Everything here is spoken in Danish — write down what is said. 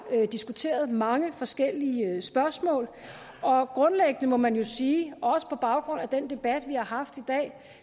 diskuteret mange forskellige spørgsmål og grundlæggende må man jo sige også på baggrund af den debat vi har haft i dag at